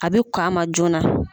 A bɛ kɔn a ma joona.